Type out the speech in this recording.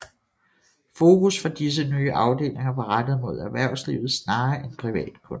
Fokus for disse nye afdelinger var rettet mod erhvervslivet snarere end privatkunder